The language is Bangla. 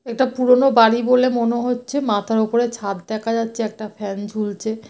এটা পুরোনো বাড়ি বলে মনে হচ্ছে। মাথার উপরে ছাদ দেখা যাচ্ছে। একটা ফ্যান ঝুলছে।